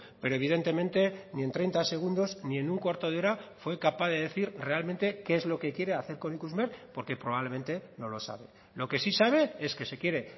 pero evidentemente ni en treinta segundos ni en un cuarto de hora fue capaz de decir realmente qué es lo que quiere hacer con ikusmer porque probablemente no lo sabe lo que sí sabe es que se quiere